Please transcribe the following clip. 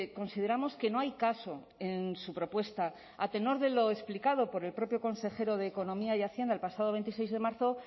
consideramos que no hay caso en su propuesta a tenor de lo explicado por el propio consejero de economía y hacienda el pasado veintiséis de marzo